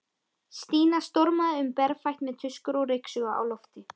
Stína stormaði um berfætt með tuskur og ryksugu á lofti.